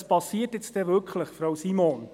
Was passiert denn nun wirklich, Frau Simon?